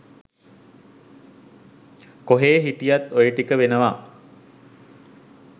කොහේ හිටියත් ඔය ටික වෙනවා.